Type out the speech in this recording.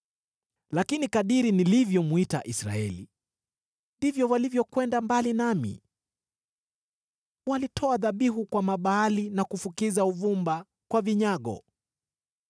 Lakini kadiri nilivyomwita Israeli, ndivyo walivyokwenda mbali nami. Walitoa dhabihu kwa Mabaali na kufukiza uvumba kwa vinyago.